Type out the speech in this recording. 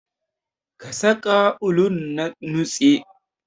Ka saƙa ulun a nutse.